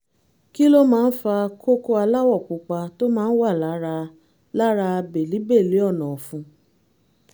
kí ló máa ń fa kókó aláwọ̀ pupa tó máa ń wà lára lára bèlíbèlí ọ̀nà-ọ̀fun?